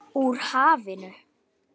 Úr hafinu.